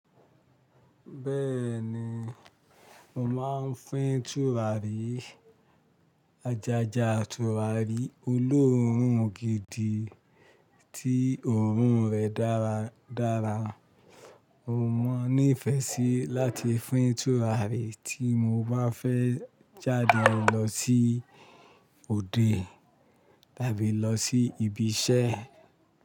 Béèni mo máa ń fí tùràrí Ajaja tùràrí olóòórùn gidi tí òórùn rẹ̀ dára dára. Mo ní ìfẹ́ sí láti fín tùràrí tí mo bá fẹ́ jáde lọ sí òde tàbí lọ sí ibi iṣẹ́.